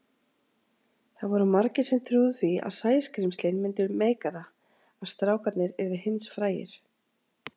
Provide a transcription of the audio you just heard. Það voru margir sem trúðu því að Sæskrímslin myndu meika það, að strákarnir yrðu heimsfrægir.